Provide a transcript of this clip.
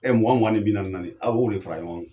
Ɛ mugan mugan ni bi naani naani aw b'o de fa ɲɔgɔn kan